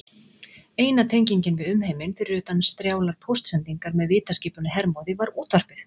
Eina tengingin við umheiminn, fyrir utan strjálar póstsendingar með vitaskipinu Hermóði, var útvarpið.